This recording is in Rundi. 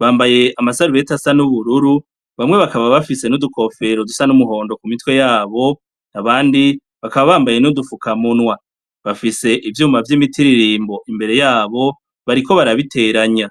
bambaye amasarubeti asa n'ubururu bamwe bakaba bafise n'udukofero dusa n'umuhondo ku mitwe yabo nabandi bakaba bambaye n'udufuka mu nwa bafise ivyuma vy'imiti ririmbo imbere yabo bariko barabiteranya.